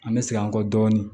An bɛ segin an kɔ dɔɔnin